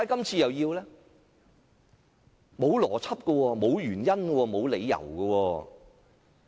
沒有邏輯，沒有原因，沒有理由。